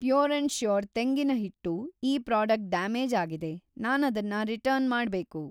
Pure and sure ತೆಂಗಿನ ಹಿಟ್ಟು ಈ ಪ್ರಾಡಕ್ಟ್ ಡ್ಯಾಮೇಜ್‌ ಆಗಿದೆ, ನಾನದನ್ನ ರಿಟರ್ನ್‌ ಮಾಡ್ಬೇಕು.